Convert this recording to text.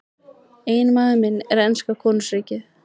Eiginmaður minn er enska konungsríkið.